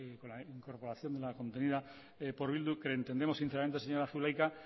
la incorporación de una contenida por bildu pero entendemos sinceramente señora zulaika